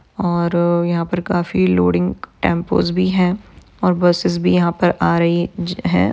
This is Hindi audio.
और यहा पर काफी लोडिंग टेम्पोस भी है और बसेस भी यहा पर आ रही ज है।